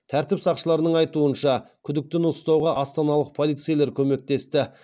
тәртіп сақшыларының айтуынша күдіктіні ұстауға астаналық полицейлер көмектесті